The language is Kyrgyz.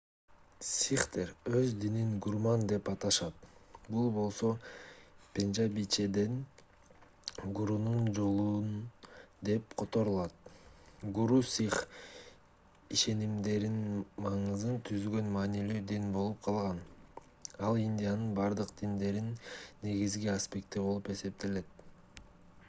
сихтер өз динин гурмат деп аташат бул болсо пенжабичеден гурунун жолу деп которулат гуру сих ишенимдеринин маңызын түзгөн маанилүү дин болуп калган ал индиянын бардык диндеринин негизги аспекти болуп эсептелет